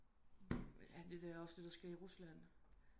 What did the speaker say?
Alt det der også det der sker i Rusland